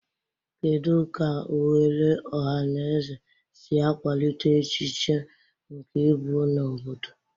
Kedu ka oghere ọhaneze si akwalite echiche nke ịbụ na obodo?